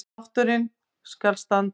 Þátturinn skal standa